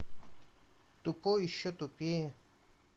тупой и еще тупее